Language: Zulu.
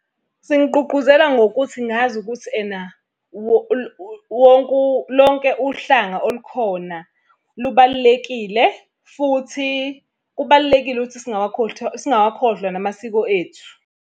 Singigqungquzela ngokuthi ngazi ukuthi ena wonke , lonke uhlanga olukhona lubalulekile futhi kubalulekile ukuthi singawakhohlwa namasiko ethu.